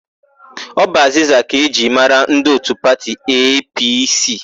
Ọ bụ azịza ka e ji mara ndị òtù pati EePiiSii.